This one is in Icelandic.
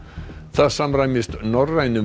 það samræmist norrænum